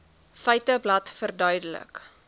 feiteblad verduidelik